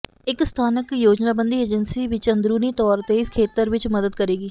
ਇੱਕ ਸਥਾਨਕ ਯੋਜਨਾਬੰਦੀ ਏਜੰਸੀ ਵਿੱਚ ਅੰਦਰੂਨੀ ਤੌਰ ਤੇ ਇਸ ਖੇਤਰ ਵਿੱਚ ਮਦਦ ਕਰੇਗੀ